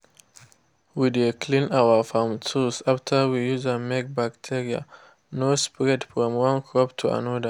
we dey clean our farm tools after we use am make bacteria no spread from one crop to another.